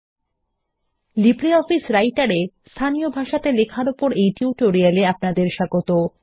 নমস্কার LibreOffice Writer এ স্থানীয় ভাষাতে লেখার ওপর এই টিউটোরিয়াল এ আপনাকে স্বাগত